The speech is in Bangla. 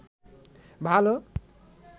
ভালো